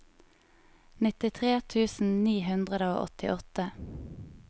nittitre tusen ni hundre og åttiåtte